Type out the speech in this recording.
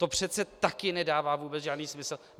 To přece taky nedává vůbec žádný smysl.